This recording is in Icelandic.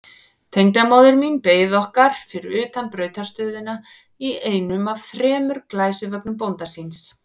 Tengdamóðir mín beið okkar fyrir utan brautarstöðina í einum af þremur glæsivögnum bónda síns.